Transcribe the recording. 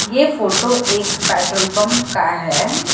ये फोटो एक petrol pump का है।